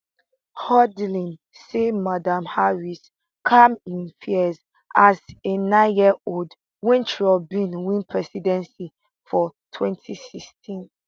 hudlin say madam harris calm im fears as a nineyearold wen trump bin win presidency for 2016